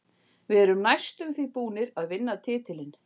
Við erum næstum því búnir að vinna titilinn.